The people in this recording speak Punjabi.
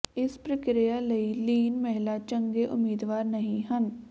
ਇਸ ਪ੍ਰਕਿਰਿਆ ਲਈ ਲੀਨ ਮਹਿਲਾ ਚੰਗੇ ਉਮੀਦਵਾਰ ਨਹੀਂ ਹਨ